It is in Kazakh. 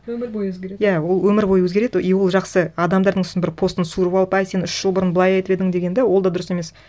өмір бойы өзгереді иә ол өмір бойы өзгереді и ол жақсы адамдардың сосын бір постын суырып алып әй сен үш жыл бұрын былай айтып едің деген де ол да дұрыс емес